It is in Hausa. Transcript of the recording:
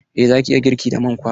Eh za ki iya girki da man kwakwa.